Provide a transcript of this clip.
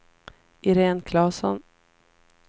Iréne Klasson